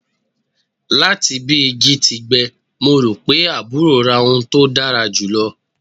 Lati bi igi ti gbẹ, Mo ro pe aburo ra ohun ti o dara julọ